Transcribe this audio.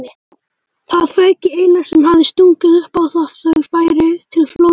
Það fauk í Einar sem hafði stungið upp á að þau færu til Flórída.